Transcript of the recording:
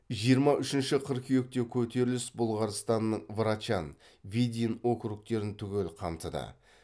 жиырма үшінші қыркүйекте көтеріліс бұлғарстанның врачан видин округтерін түгел қамтыды